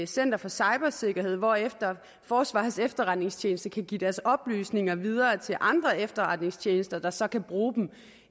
center for cybersikkerhed hvorefter forsvarets efterretningstjeneste kan give deres oplysninger videre til andre efterretningstjenester der så kan bruge dem